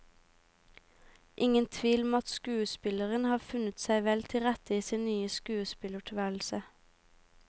Ingen tvil om at skuespilleren har funnet seg vel til rette i sin nye skuespillertilværelse.